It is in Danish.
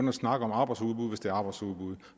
at snakke om arbejdsudbud er arbejdsudbud